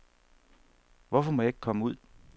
Hvorfor må jeg ikke komme ud.